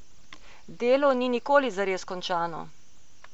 Delo ni nikoli zares končano.